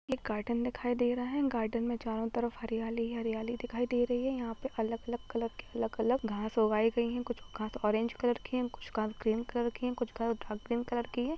Garden दिख रहा है गार्डन में चारो तरफ हरियाली ही हरियाली दिखाई दे रही है यहा पर अलग अलग कलर अलग अलग घास उगाई गयी है कुछ घास ओरंगो कलर के है कुछ घास ग्रीन कलर के है।